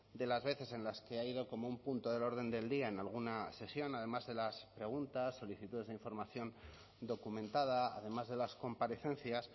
de las veces en las que ha ido como un punto del orden del día en alguna sesión además de las preguntas solicitudes de información documentada además de las comparecencias